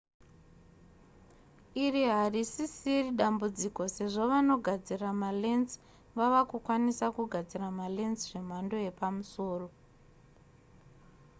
iri harisisiri dambudziko sezvo vanogadzira malens vava kukwanisa kugadzira malens zvemhando yepamusoro